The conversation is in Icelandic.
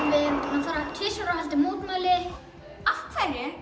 höfum farið tvisvar og haldið mótmæli af hverju